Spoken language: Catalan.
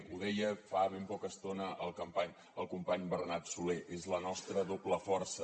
ho deia fa ben poca estona el company bernat solé és la nostra doble força